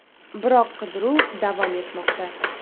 Biroq qidiruv davom etmoqda.